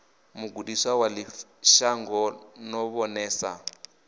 mugudisi wa ḓivhashango no vhonesa